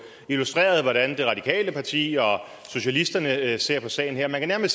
illustreret hvordan det radikale parti og socialisterne ser på sagen her man kan